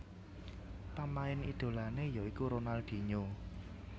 Pamain idolané ya iku Ronaldinho